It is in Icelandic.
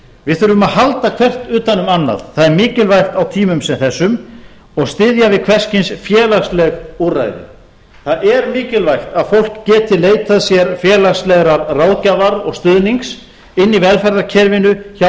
við þurfum að halda hvert utan um annað það er mikilvægt á tímum sem þessum og styðja við hvers kyns félagsleg úrræði það er mikilvægt að fólk geti leitað sér félagslegrar ráðgjafar og stuðnings inni í velferðarkerfinu hjá